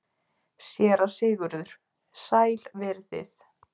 SÉRA SIGURÐUR: Sæl verið þið.